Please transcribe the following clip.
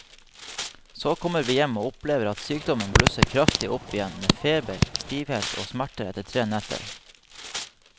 Så kommer vi hjem og opplever at sykdommen blusser kraftig opp igjen med feber, stivhet og smerter etter tre netter.